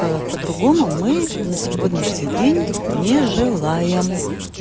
по-другому мы на сегодняшний день не желаем